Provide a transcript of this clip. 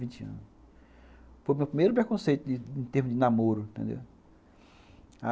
Foi o meu primeiro preconceito em termos de namoro, entendeu?